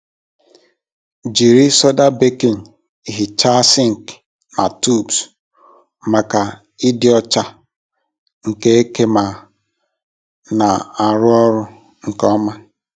Jiri soda baking hichaa sink na tubs maka ịdị ọcha nke eke ma na-arụ ọrụ nke ọma.